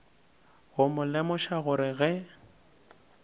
go mo lemoša gore ge